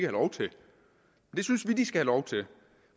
lov til det synes vi de skal have lov til